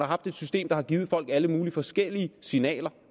haft et system der har givet folk alle mulige forskellige signaler